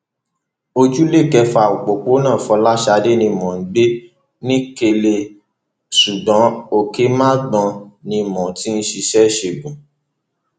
ojúlé kẹfà òpópónà fọlásadé ni mò ń gbé nikenne ṣùgbọn òkèmagbon ni mo ti ń ṣiṣẹ ìṣègùn